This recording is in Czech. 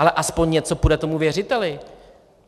Ale aspoň něco půjde tomu věřiteli.